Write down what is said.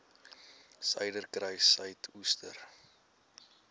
suiderkruissuidooster